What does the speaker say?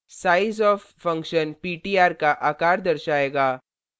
sizeof function ptr का आकार दर्शाएगा